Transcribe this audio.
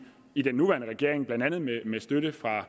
i den nuværende regering blandt andet med støtte fra